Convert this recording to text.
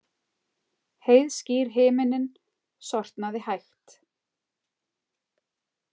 Heiðskír himinninn sortnaði hægt.